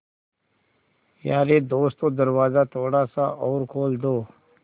यारे दोस्तों दरवाज़ा थोड़ा सा और खोल दो